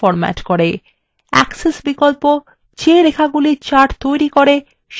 axis বিকল্প the রেখাগুলি chart তৈরী করে সেগুলিকে এবং